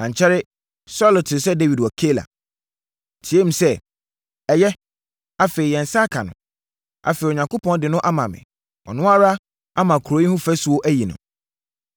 Ankyɛre, Saulo tee sɛ Dawid wɔ Keila. Ɔteaam sɛ, “Ɛyɛ. Afei, yɛn nsa aka no. Afei, Onyankopɔn de no ama me. Ɔno ara ama kuro yi ho afasuo ayi no!”